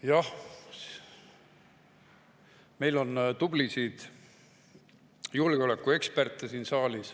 Jah, meil on siin saalis tublisid julgeolekueksperte.